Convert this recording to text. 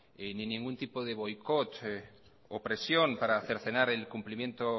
ni ningún tipo de boicot o presión para cercenar el cumplimiento